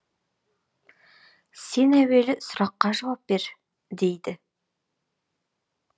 сен әуелі сұраққа жауап бер дейді